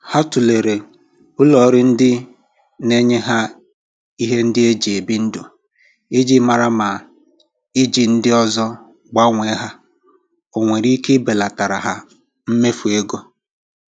Ha tụlere ulọọrụ ndị na-enye ha ihe ndị e ji ebi ndụ iji mara ma iji ndị ọzọ gbanwee ha o nwere ike ibelatara mmefu ego.